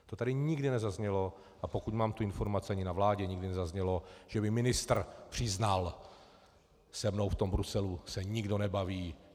To tady nikdy nezaznělo, a pokud mám tu informaci, ani na vládě nikdy nezaznělo, že by ministr přiznal: Se mnou v tom Bruselu se nikdo nebaví.